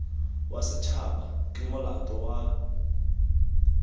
wa setshaba ke molato wa